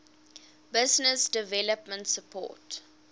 business development support